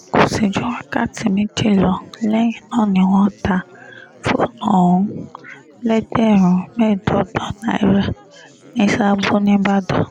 kò sì ju wákàtí méjì lọ lẹ́yìn náà ni wọ́n ta fóònù ọ̀hún lẹ́gbẹ̀rún mẹ́ẹ̀ẹ́dọ́gbọ̀n náírà ní sààbọ̀ nìbàdàn